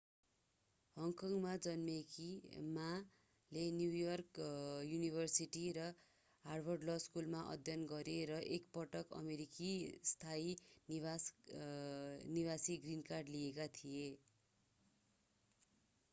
हङकङमा जन्मेकी माmaले न्यू योर्क युनिभर्सिटी र हार्वर्ड ल स्कूलमा अध्ययन गरे र एक पटक अमेरिकी स्थायी निवासी ग्रीन कार्ड” लिएका थियो।